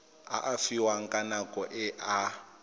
fiwang ka nako e a